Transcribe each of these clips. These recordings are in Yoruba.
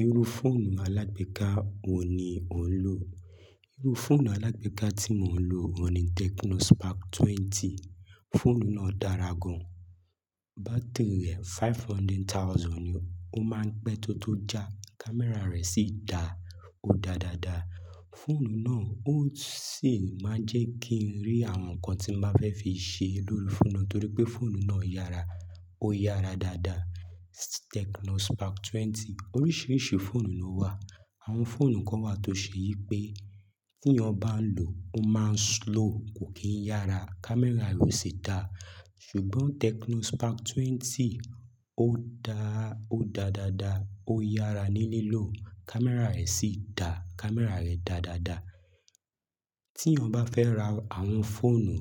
Irú fóònù alágbèéká wo ni ò ń lò? Irú fóònù alágbèéká tí mò ń lò oun ni Tecno Spark 20. Fóònù náà dára gan. Bátìrì rẹ̀ 500,000 ni ó máa ń pẹ́ tó tó já. Kámẹ́rà rẹ̀ sì dà ó dáa dáadáa. Fóònù náà ó sì máa ń jẹ́ kí ń rí àwọn nǹkan tí màá fẹ́ fi ṣe lórí fóònù náà torí pé fóònù náà yára. Ó yára dáadáa. Tecno Spark 20. Oríṣiríṣi fóònù ló wà. Àwọn fóònù kan wà tó ṣe yí pé kí ènìyàn bá ń lò ó máa ń slow, kò kí ń yára, kámẹ́rà rẹ̀ o sì dà. Ṣùgbọ́n Tecno Spark 20 ó dá, ó dáa dáadáa. Ó yára ní lílò, kámẹ́rà rẹ̀ sì dà. Kámẹ́rà rẹ̀ dà dáadáa. Tí yàn bá fẹ́ ra àwọn fóònù,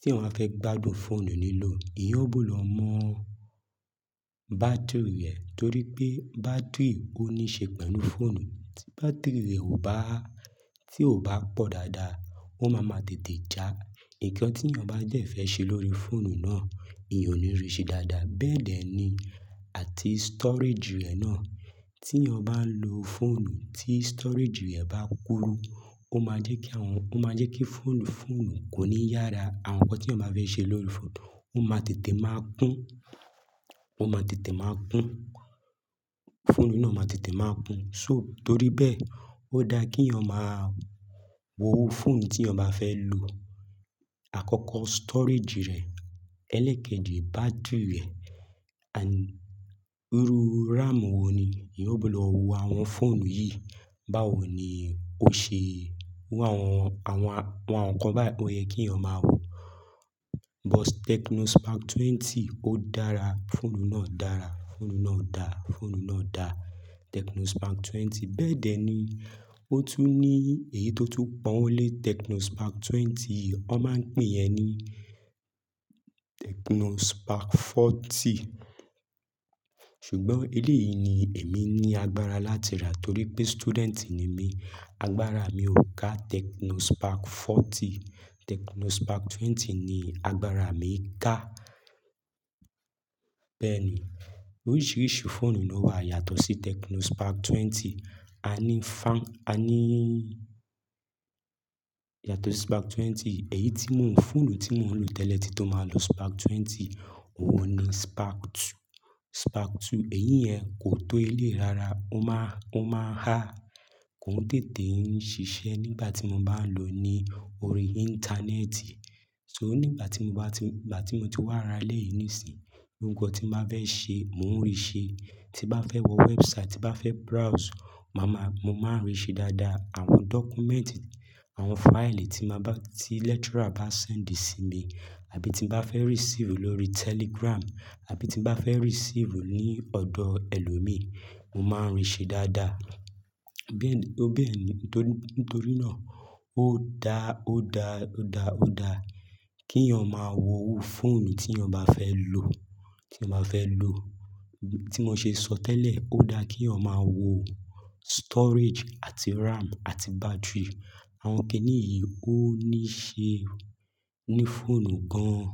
tí yàn ba fẹ́ gbádùn fóònù nílò, ìyan gbudo mọ bátìrì rẹ̀ torí pé bátìrì ò ní ṣe pẹ̀lú fóònù. Ti bátiìrì rẹ̀ tí ò bá pọ̀ dáadáa, ó máa ma tètè já. Nǹkan tí yàn bá dẹ́ fẹ́ ṣe lórí fóònù náà, ìyan ò ní rí ṣe dáadáa. Bẹ́ẹ̀ dẹ́ ni àti storage rẹ̀ náà. Tí èyàn bá ń lo fóònù tí storage rẹ̀ bá kúrú, ó máa jẹ́ kí àwọn, ó máa jẹ́ kí fóònù, fóònù kò ní yára. Àwọn nǹkan tí yàn bá fẹ́ ṣe lórí fóònù, ó máa tètè máa kún. Ó máa tètè máa kún. Fóònù náà máa tètè máa kún. So torí bẹ́ẹ̀, ó dáa kí ènìyàn máa wo fóònù tí yàn bá fẹ́ lò. Àkọ́kọ́ storage rẹ̀, ẹlẹ́kẹ́jì bátìrì rẹ̀, àní irú RAM wo ni. Ìyan gbudo wo àwọn fóònù yìí. Báwo ni ó ṣe iru àwọn, àwọn, àwọn nǹkan báyìí ó yẹ kí yàn máa wo. But Tecno Spark 20 ó dára. Fóònù náà dára. Fóònù náà dà. Fóònù náà dà. Tecno Spark 20 bẹ́ẹ̀dẹ́ ni. Ó tún ní èyí tó tú pọ́wọ lé Tecno Spark 20. Wọ́n máa ń pè yẹ́ ní Tecno Spark 40. Ṣùgbọ́n eléyìí ni èmi ní agbára láti rà torí pé student ni mí. Agbára mi ò ká Tecno Spark 40. Tecno Spark 20 ni agbára mi ń ká. Bẹ́ẹ̀ ni. Oríṣiríṣi fóònù ló wà yàtọ̀ sí Tecno Spark 20. A ní Fa- a ní, yàtọ̀ sí Spark 20. Ẹ̀yí tí mò ń, fóònù tí mò ń lò tẹ́lẹ̀ tí tó máa lọ Spark 20, òun ni Spark 2. Spark 2 èyí yẹn kò tó eléyìí rárá. Ó máa, ó máa n há. Kò n tètè ń ṣiṣẹ́ nígbà tí mo bá ń lò ó ní orí íńtánẹ́ẹ̀tì. So nígbà tí mo bá ti, ìgbà tí mo ti wá ra eléyìí nísìnyí, ohun kan tí bá fẹ́ ṣe mò ń rí ṣe. Tí ba fẹ́ wọ website, tí bá fẹ́ browse, màá ma, mo máa ń rí ṣe dáadáa. Àwọn document, àwọn file tí màá bá, tí lecturer bá send sí mi àbí tí mo bá fẹ́ receive lórí Telegram àbí tí mo bá fẹ́ receive ní ọ̀dọ̀ ẹlòmíì, mo máa ń rí ṣe dáadáa. Bẹ́ẹ̀ni, ó bẹ́ẹ̀ni. Nítorí náà ó dá, ó dá, ó dá, ó dá kí ènìyàn máa wo iru fóònù tí ènìyàn bá fẹ́ lò. Tí ènìyàn bá fẹ́ lò. Tí mò ń ṣe sọ tẹ́lẹ̀, ó dáa kí ẹ̀yàn máa wo storage àti RAM àti battery. Àwọn kíní yìí ó ní ṣe ní fóònù gan-an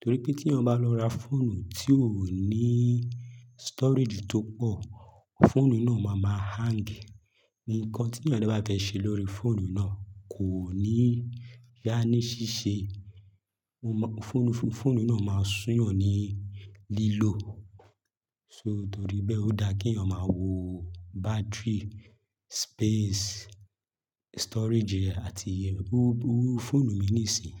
torí pé tí ènìyàn bá lọ ra fóònù tí ò ní storage tó pọ̀, fóònù náà máa ma hang. Ǹkan tí yàn dẹ bá fẹ́ ṣe lórí fóònù náà kò ní dá ní ṣíṣe. Fóònù, fóònù náà máa sú yàn ní lílò. So torí bẹ́ẹ̀ ó dáa kí ẹ̀yàn máa wo battery, space, storage rẹ̀ àti, iru, iru fóònù mi nísìn.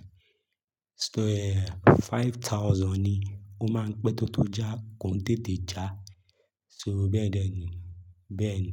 Storage 5,000 ni ó máa ń pẹ́ tó tó já. Kò n tètè já. So bẹ́ẹ̀dẹ́ ni. Bẹ́ẹ̀ ni.